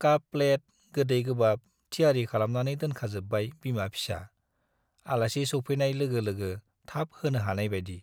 काप - plate, गोदै गोबाब थियारि खालामनानै दोनखाजोब्बाय बिमा-फिसा, आलासि सौफैनाय लोगो लोगो थाब होनो हानायबाइदि ।